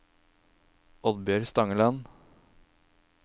Oddbjørg Stangeland